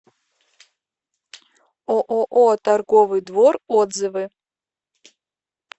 ооо торговый двор отзывы